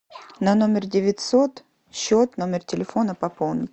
на номер девятьсот счет номер телефона пополнить